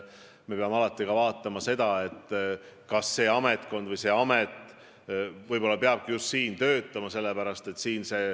Me peame alati arvestama, ega konkreetne amet ei pea tingimata just pealinnas töötama.